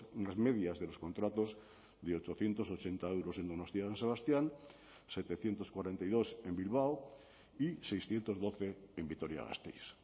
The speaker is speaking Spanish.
unas medias de los contratos de ochocientos ochenta euros en donostia san sebastián setecientos cuarenta y dos en bilbao y seiscientos doce en vitoria gasteiz